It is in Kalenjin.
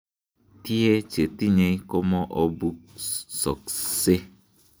Tie chetinye komoobusokse.